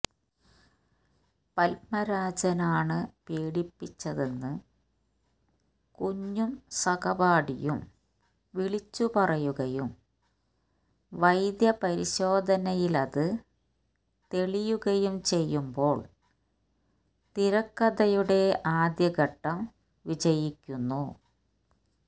പത്മരാജനാണ് പീഡിപ്പിച്ചതെന്ന് കുഞ്ഞും സഹപാഠിയും വിളിച്ചുപറയുകയും വൈദ്യപരിശോധനയിലത് തെളിയുകയും ചെയ്യുമ്പോൾ തിരക്കഥയുടെ ആദ്യഘട്ടം വിജയിക്കുന്നു